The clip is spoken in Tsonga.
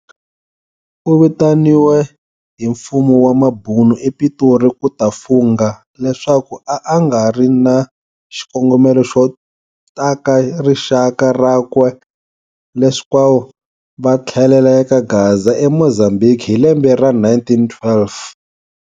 U vitaniwe hi mfumo wa mabhunu epitori kuta fungha leswaku a a ngari na xikongomelo xo taka rixaka rakwe leswaku vathlelela eka Gaza e Mozambhiki hi lembe ra 1912.